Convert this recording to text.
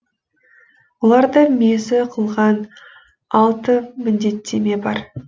оларды мезі қылған алты міндеттеме бар